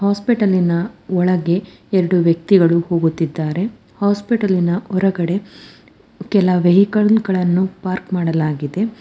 ಹಾಸ್ಪಿಟಲಿ ನ ಒಳಗೆ ಎರಡು ವ್ಯಕ್ತಿಗಳು ಕೂತಿದ್ದಾರೆ ಹಾಸ್ಪಿಟಲಿ ನ ಹೊರಗಡೆ ಕೆಲ ವೇಹಿಕಲ್ ನ್ನು ಪಾರ್ಕ್ ಮಾಡಲಾಗಿದೆ.